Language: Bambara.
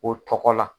O tɔgɔ la